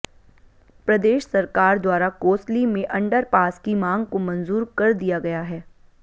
प्रदेश सरकार द्वारा कोसली में अंडरपास की मांग को मंजूर कर दिया गया है